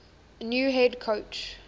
new head coach